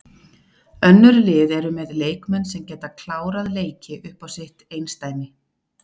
Önnur lið eru með leikmenn sem geta klárað leiki upp á sitt einsdæmi.